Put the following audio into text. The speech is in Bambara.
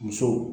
Musow